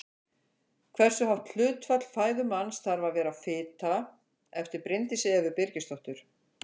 Hversu hátt hlutfall fæðu manns þarf að vera fita eftir Bryndísi Evu Birgisdóttur.